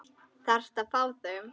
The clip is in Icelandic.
Þarftu að fá þau?